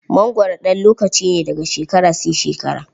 mangwaro ɗan lokaci ne, daga shekara sai shekara.